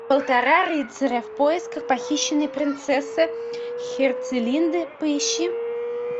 полтора рыцаря в поисках похищенной принцессы херцелинды поищи